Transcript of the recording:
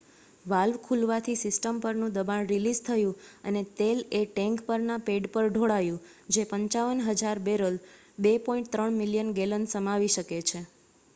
valve ખૂલવાથી system પરનું દબાણ રિલીઝ થયું અને તેલ એ ટૅંક પરના પૅડ પર ઢોળાયું જે 55,000 બૅરલ 2.3 મિલિયન ગૅલન સમાવી શકે છે